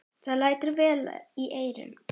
Það lætur vel í eyrum.